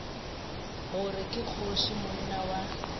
gore ke kgoši monna wa